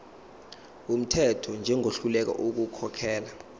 wumthetho njengohluleka ukukhokhela